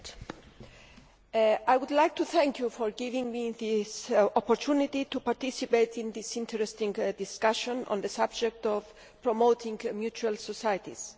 Mr President, I would like to thank you for giving me this opportunity to participate in this interesting discussion on the subject of promoting mutual societies.